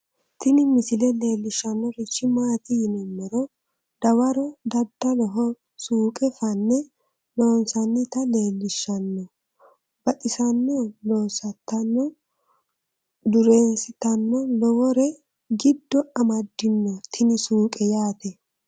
Tini misile leellishshannorichi maati yinummoro dawaro daddaloho suuqe fanne loonsannita leellishhsanno baxissanno lossitanno dureensitanno lowore giddo amaddino tini suuqe yaate